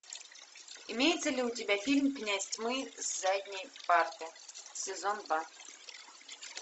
имеется ли у тебя фильм князь тьмы с задней парты сезон два